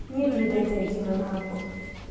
Niĩ ndiendete ngima na mboga